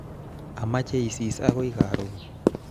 Amache isis akoi karon